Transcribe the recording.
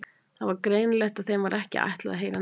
Það var greinilegt að þeim var ekki ætlað að heyra neitt.